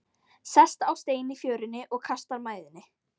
Sest á stein í fjörunni og kastar mæðinni.